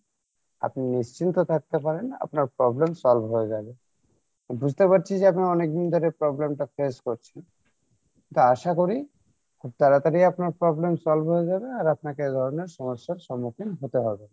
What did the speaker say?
আপনি নিশ্চিন্তে থাকতে পারেন আপনার problem solve হয়ে যাবে বুঝতে পারছি যে আপনার অনেকদিন ধরে প্রবলেম টা face করছেন তো আশা করি খুব তাড়াতাড়ি আপনার problem solve হয়ে যাবে আর আপনাকে এ ধরণের সমস্যার সম্মুখীন হতে হবে না